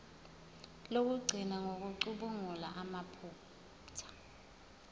lokugcina ngokucubungula amaphutha